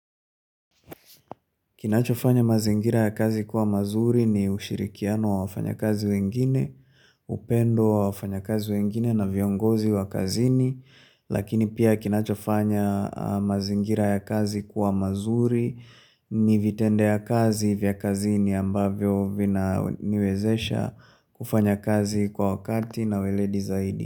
Kinachofanya mazingira ya kazi kuwa mazuri ni ushirikiano wa wafanya kazi wengine, upendo wa wafanya kazi wengine na viongozi wa kazini, lakini pia kinachofanya mazingira ya kazi kuwa mazuri ni vitendo ya kazi vya kazini ambavyo vinaniwezesha kufanya kazi kwa wakati na uweledi zaidi.